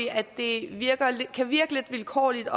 at det kan virke lidt vilkårligt at